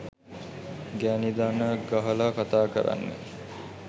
ගැනි දන ගහලා කථා කරන්නේ